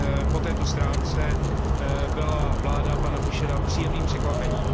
po této stránce byla vláda pana Fischera příjemným překvapením.